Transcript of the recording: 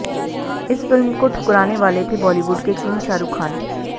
इस फिल्म को ठुकराने वाले थे बॉलीवुड के किंग शाहरुख खान